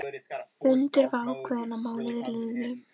Fundur var ákveðinn að mánuði liðnum.